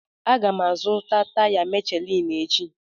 Aga m azụta taya Michelin echi.